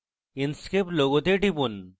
inkscape লোগোতে টিপুন